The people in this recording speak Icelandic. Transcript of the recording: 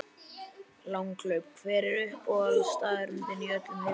Langhlaup Hver er uppáhaldsstaðurinn þinn í öllum heiminum?